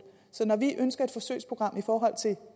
så når vi ønsker et forsøgsprogram i forhold til